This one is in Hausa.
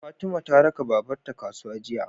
Fatima ta raka babar ta kasuwa jiya